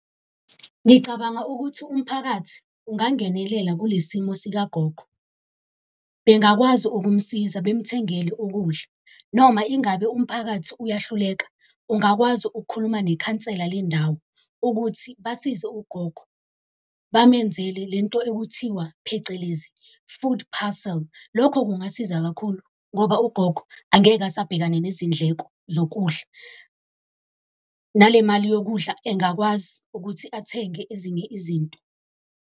Ngicabanga ukuthi umphakathi ungangenelela kule simo sikagogo, bengakwazi ukumsiza bemthengele ukudla, noma ingabe umphakathi uyahluleka, ungakwazi ukukhuluma nekhansela lendawo ukuthi basize ugogo, bamenzele lento ekuthiwa, phecelezi, food parcel. Lokho kungasiza kakhulu ngoba ugogo angeke asabhekane nezindleko zokudla. ngale mali yokudla engakwazi ukuthi athenge ezinye izinto.